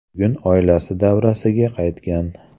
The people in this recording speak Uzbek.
Bugun oilasi davrasiga qaytgan.